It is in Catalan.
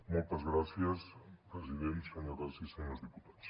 moltes gràcies president senyores i senyors diputats